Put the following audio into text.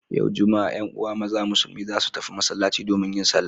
Yau Juma'a 'yan uwa maza musulmi za su tafi masallaci domin yin sallah.